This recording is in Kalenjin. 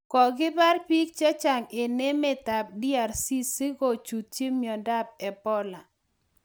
Kokibar biik chechang eng emet ab DRC si kochuchuch miondo ab Ebola